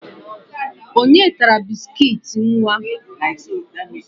Onye tara biskit nwa?